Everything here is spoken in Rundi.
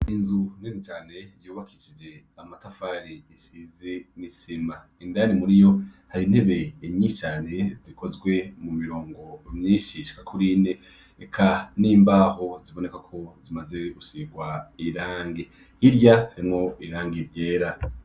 Inzu nene cane yobakicije amatafari isize misima indari muri yo hari intebe inyicane zikozwe mu mirongo umyishisha kurine eka n'imbaho ziboneka ko zimaze usirwa irange irya harimwo irange ivyera.